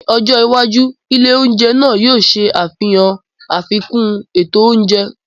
Ní ọjọ́ iwájú, ilé oúnjẹ náà yóò ṣe àfihàn àfikún ètò oúnjẹ.